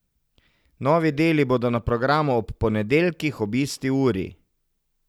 Novi deli bodo na programu ob ponedeljkih ob isti uri.